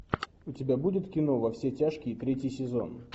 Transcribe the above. у тебя будет кино во все тяжкие третий сезон